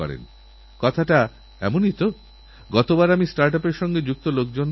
কেন্দ্রসরকার যে green India mission চালাচ্ছে সেই যোজনার মাধ্যমে রেলকর্তৃপক্ষ সবুজায়নকরছে